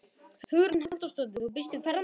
Hugrún Halldórsdóttir: Og býstu við ferðamönnum?